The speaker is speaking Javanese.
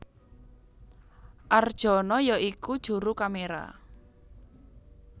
Arjono ya iku juru kaméra